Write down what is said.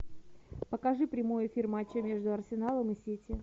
покажи прямой эфир матча между арсеналом и сити